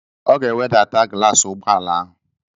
Ọ ga-ewedata glaasi ụgbọala ahụ.